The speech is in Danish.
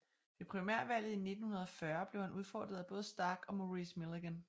Ved primærvalget i 1940 blev han udfordret af både Stark og Maurice Milligan